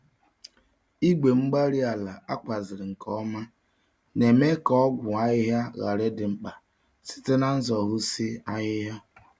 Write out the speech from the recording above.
Igwe-mgbárí-ala ákwàziri nke ọma némè' ka ọgwụ ahịhịa ghara ịdị mkpa, site n'zoghusi ahịhịa.